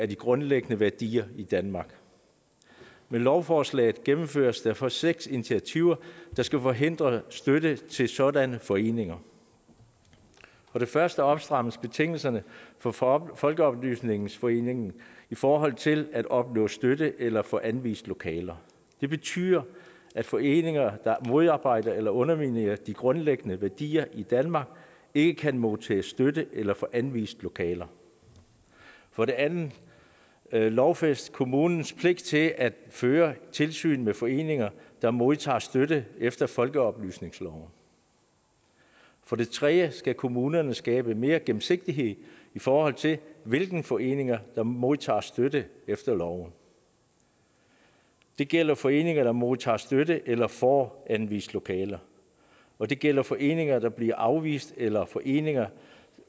de grundlæggende værdier i danmark med lovforslaget gennemføres derfor seks initiativer der skal forhindre støtte til sådanne foreninger for det første opstrammes betingelserne for for folkeoplysningsforeningerne i forhold til at opnå støtte eller få anvist lokaler det betyder at foreninger der modarbejder eller underminerer de grundlæggende værdier i danmark ikke kan modtage støtte eller få anvist lokaler for det andet lovfæstes kommunens pligt til at føre tilsyn med foreninger der modtager støtte efter folkeoplysningsloven for det tredje skal kommunerne skabe mere gennemsigtighed i forhold til hvilke foreninger der modtager støtte efter loven det gælder foreninger der modtager støtte eller får anvist lokaler og det gælder foreninger der bliver afvist eller foreninger